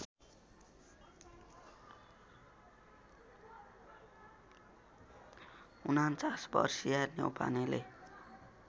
४९ वर्षीया न्यौपानेले